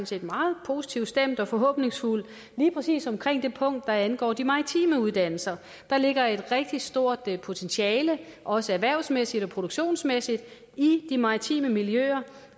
set meget positivt stemt og forhåbningsfuld lige præcis omkring det punkt der angår de maritime uddannelser der ligger et rigtig stort potentiale også erhvervsmæssigt og produktionsmæssigt i de maritime miljøer